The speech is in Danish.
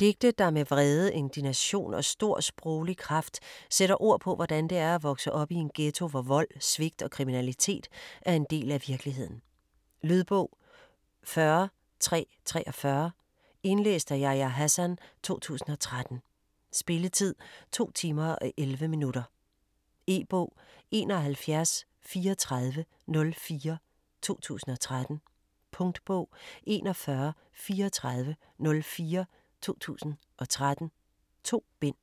Digte der med vrede, indignation og stor sproglig kraft sætter ord på hvordan det er at vokse op i en ghetto, hvor vold, svigt og kriminalitet er en del af virkeligheden. Lydbog 40343 Indlæst af Yahya Hassan, 2013. Spilletid: 2 timer, 11 minutter. E-bog 713404 2013. Punktbog 413404 2013. 2 bind.